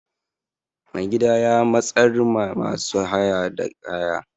Mai gida ya watsar ma masu haya da kaya.